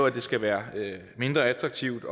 at det skal være mindre attraktivt